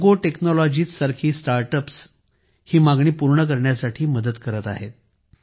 जोगो तंत्रज्ञान सारखे स्टार्टअप ही मागणी पूर्ण करण्यात मदत करत आहेत